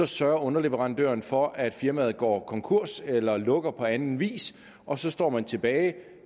sørger underleverandørerne for at firmaet går konkurs eller lukker på anden vis og så står man tilbage